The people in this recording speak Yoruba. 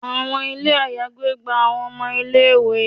Àwọn ilé àyágbé gba àwọn ọmọ ilé-ìwé